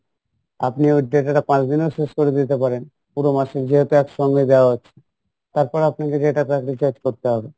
আপনি ওই data টা পাঁচদিনেও শেষ করে দিতে পারেন পুরো মাসের যেহেতু এক সঙ্গে দেওয়া হচ্ছে তারপরে আপনি যে data টা recharge করতে হবে